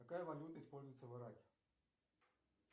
какая валюта используется в ираке